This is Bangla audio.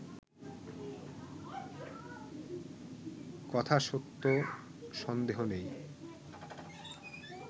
কথা সত্য সন্দেহ নেই